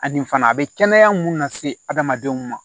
Ani fana a bɛ kɛnɛya mun lase adamadenw ma